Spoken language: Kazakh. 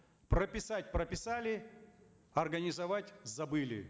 прописать прописали организовать забыли